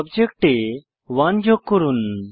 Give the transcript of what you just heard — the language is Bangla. সাবজেক্টে 1 যোগ করুন